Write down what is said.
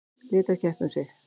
Lét þær keppa um sig.